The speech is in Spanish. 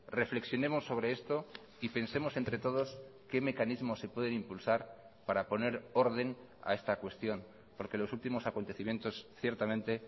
reflexionemos sobre esto y pensemos entre todos qué mecanismos se pueden impulsar para poner orden a esta cuestión porque los últimos acontecimientos ciertamente